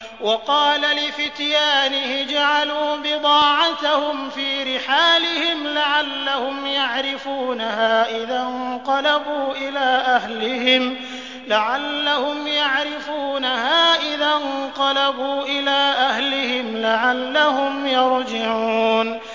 وَقَالَ لِفِتْيَانِهِ اجْعَلُوا بِضَاعَتَهُمْ فِي رِحَالِهِمْ لَعَلَّهُمْ يَعْرِفُونَهَا إِذَا انقَلَبُوا إِلَىٰ أَهْلِهِمْ لَعَلَّهُمْ يَرْجِعُونَ